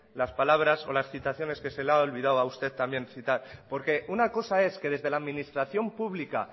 las palabras o las citaciones que se le ha olvidado a usted también citar porque una cosa es que desde la administración pública